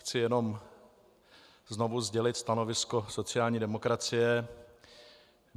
Chci jenom znovu sdělit stanovisko sociální demokracie.